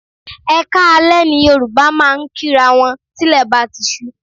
Ẹ kaale ni Yorùbá máa ń kí'ra wọn tí ilè bá ti ṣú.